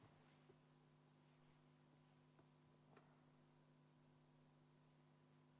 [Algust ei ole kuulda.